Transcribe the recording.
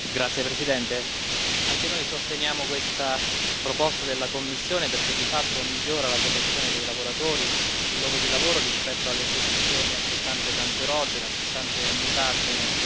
Signor Presidente, onorevoli colleghi, anche noi sosteniamo questa proposta della Commissione perché, di fatto, migliora la protezione dei lavoratori sul luogo di lavoro rispetto all'esposizione a sostanze cancerogene e a sostanze mutagene.